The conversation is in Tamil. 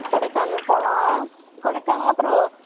கொடைக்கானல் போலாம்.கொடைக்கானல் அப்பறம் வயநாடு